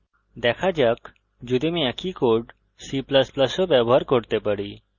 দেখা যাক যদি আমি একই কোড c ++ এও ব্যবহার করতে পারি